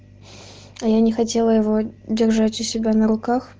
а я не хотела его держать у себя на руках